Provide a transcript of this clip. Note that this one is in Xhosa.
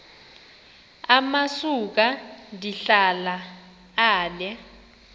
amasuka ndihlala ale